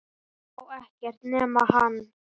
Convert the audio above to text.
Hún sá ekkert nema hann!